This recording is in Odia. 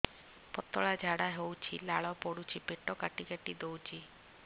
ପତଳା ଝାଡା ହଉଛି ଲାଳ ପଡୁଛି ପେଟ କାଟି କାଟି ଦଉଚି